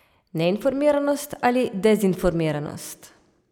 Neinformiranost ali dezinformiranost?